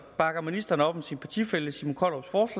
bakker ministeren op om sin partifælle simon kollerups